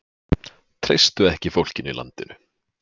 Treystu ekki fólkinu í landinu